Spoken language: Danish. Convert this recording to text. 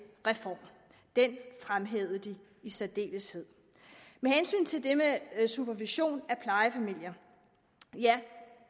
reform den fremhævede de i særdeleshed med hensyn til det med supervision af plejefamilier vil